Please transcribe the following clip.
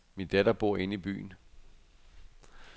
Min datter bor i inde i byen.